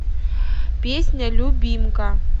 песня любимка